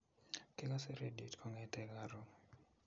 Kakase radiot kongete karon.